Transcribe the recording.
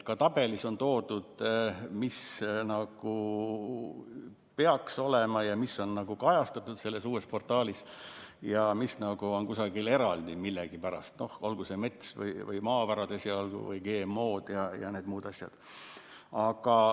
Ka tabelis on toodud see, mis peaks olema ja mis on kajastatud selles uues portaalis ja mis on millegipärast kusagil eraldi, olgu see mets, maavarad või GMO‑d ja need muud asjad.